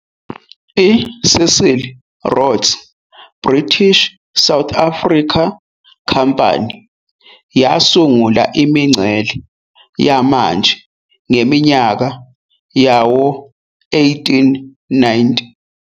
I-Cecil Rhodes' British South Africa Company yasungula imingcele yamanje ngeminyaka yawo-1890.